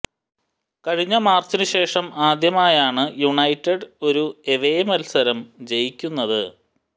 കഴിഞ്ഞ മാര്ച്ചിന് ശേഷം ആദ്യമായാണ് യുനൈറ്റഡ് ഒരു എവേ മല്സരം ജയിക്കുന്നത്